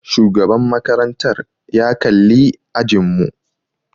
Shugaban makarantar ya kalli ajin mu.